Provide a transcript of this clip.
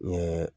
N ye